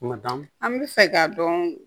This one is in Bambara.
Kuma d'a ma an bɛ fɛ k'a dɔn